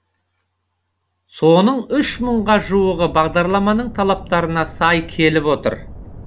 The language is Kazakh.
соның үш мыңға жуығы бағдарламаның талаптарына сай келіп отыр